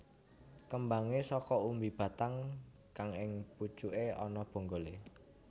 Kembangé saka umbi batang kang ing pucuke ana bonggolé